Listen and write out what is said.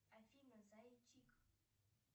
афина зайчик